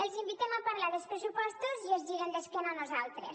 els invitem a parlar dels pressupostos i es giren d’esquena a nosaltres